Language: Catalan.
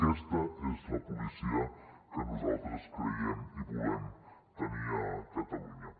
aquesta és la policia que nosaltres creiem i volem tenir a catalunya